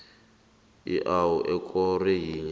iwua ekoro yinye